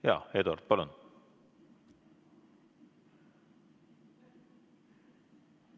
Jaa, Eduard, palun!